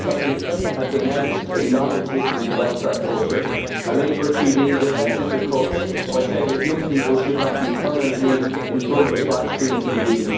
Enda Kenny has denounced a non existent welfare culture, and a Labour TD defended the cuts by saying that young people should not be permanently in front of flat screen TVs.